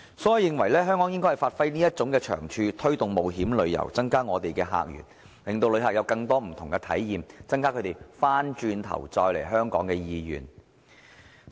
所以，我認為香港應該發揮這種長處，推動冒險旅遊，增加我們的客源，令旅客有更多不同的體驗，增加他們再來香港的意願。